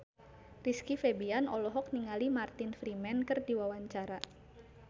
Rizky Febian olohok ningali Martin Freeman keur diwawancara